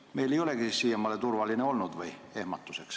Kas meil ei olegi ehmatuseks siiamaani turvaline olnud?